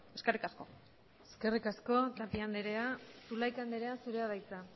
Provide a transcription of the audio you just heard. eskerrik asko eskerrik asko tapia andrea zulaika andrea zurea da hitza